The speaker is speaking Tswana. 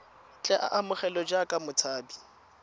tle a amogelwe jaaka motshabi